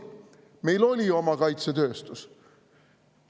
Meil oli oma kaitsetööstus.